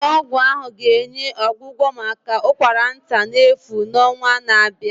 Ụlọ ọgwụ ahụ ga-enye ọgwụgwọ maka ụkwara nta n'efu n'ọnwa na-abịa